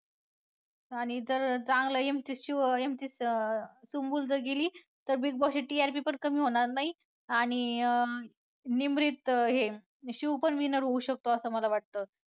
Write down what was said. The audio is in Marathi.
आणि जर चांगलं MC शिव MC सुम्बूल जर गेली तर Big Boss ची TRP पण कमी होणार नाही आणि अं निमरीत हे शिव पण winner होऊ शकतो असं मला वाटतं.